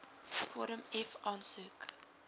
vorm f aansoek